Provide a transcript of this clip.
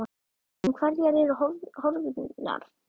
En hverjar eru horfurnar?